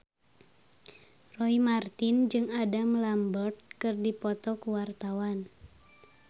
Roy Marten jeung Adam Lambert keur dipoto ku wartawan